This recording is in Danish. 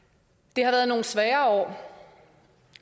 det har været nogle svære år